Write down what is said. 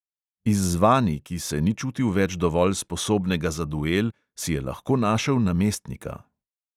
Izzvani, ki se ni čutil več dovolj sposobnega za duel, si je lahko našel namestnika.